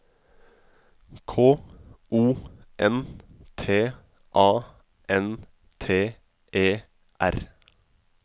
K O N T A N T E R